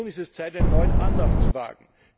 nun ist es Zeit, einen neuen Anlauf zu wagen.